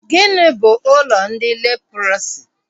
Gịnị bụ ụlọ ndị leprọsi?